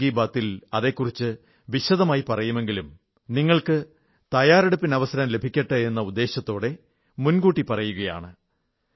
അടുത്ത മൻ കീ ബാത് ൽ അതെക്കുറിച്ച് വിശദമായി പറയുമെങ്കിലും നിങ്ങൾക്ക് തയ്യാറെടുപ്പിന് അവസരം ലഭിക്കട്ടെ എന്ന ഉദ്ദേശ്യത്തോടെ മുൻ കൂട്ടി പറയുകയാണ്